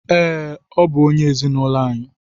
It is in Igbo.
Ee, ọ bụ onye ezinụlọ anyị.